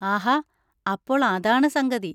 ആഹാ, അപ്പോൾ അതാണ് സംഗതി.